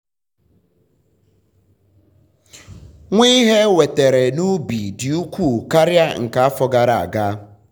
nwa ihe enwetere n'ubi dị ukwuu karịa nke afọ gara aga.